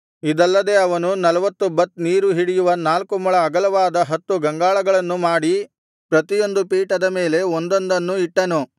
ಇದಲ್ಲದೆ ಅವನು ನಲ್ವತ್ತು ಬತ್ ನೀರು ಹಿಡಿಯುವ ನಾಲ್ಕು ಮೊಳ ಅಗಲವಾದ ಹತ್ತು ಗಂಗಾಳಗಳನ್ನು ಮಾಡಿ ಪ್ರತಿಯೊಂದು ಪೀಠದ ಮೇಲೆ ಒಂದೊಂದನ್ನು ಇಟ್ಟನು